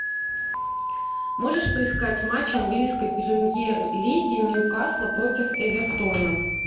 можешь поискать матч английской премьер лиги ньюкасла против эвертона